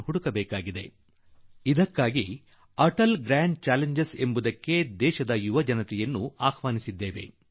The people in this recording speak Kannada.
ದೇಶದ ಯುವ ಪೀಳಿಗೆ ಮುಂದೆ ನಾವು ಅವರು ಎದುರಿಸುವ ಸಮಸ್ಯೆಗಳ ಪರಿಹಾರಕ್ಕಾಗಿ ಂಣಚಿಟ ಉಡಿಚಿಟಿಜ ಅhಚಿಟಟeಟಿges ಎಂಬ ಕಾರ್ಯಕ್ರಮವನ್ನು ಅವರ ಮುಂದಿಡುತ್ತಿದ್ದೇವೆ